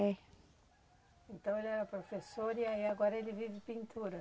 É. Então ele era professor e aí agora ele vive de pintura.